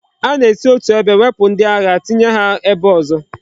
A na esi otu ebe wepu ndi agha tinye ha ebe ozo